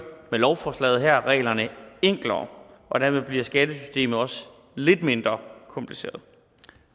med lovforslaget her reglerne enklere dermed bliver skattesystemet også lidt mindre kompliceret